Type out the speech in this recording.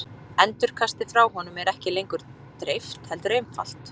Endurkastið frá honum er ekki lengur dreift heldur einfalt.